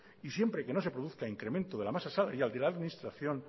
y siempre que no se produzca incremento de la masa salarial de la administración